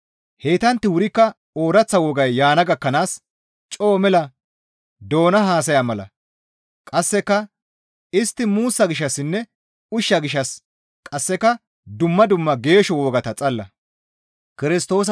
Heytantti wurikka ooraththa wogay yaana gakkanaas coo mela doona haasaya mala; qasseka istti muussa gishshassinne ushsha gishshas qasseka dumma dumma geesho wogata xalla.